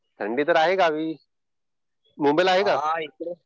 थंडी तर आहे गावी. मुंबईला आहे का?